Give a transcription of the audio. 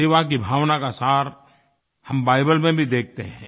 सेवा की भावना का सार हम बाइबल में भी देखते हैं